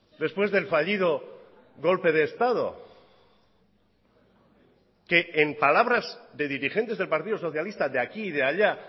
después del fallido golpe de estado que en palabras de dirigentes del partidos socialista de aquí de allá